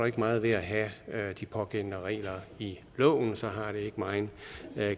ikke meget ved at have de pågældende regler i loven så har det ikke megen